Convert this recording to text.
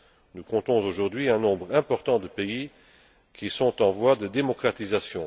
patience. Nous comptons aujourd'hui un nombre important de pays qui sont en voie de démocratisation.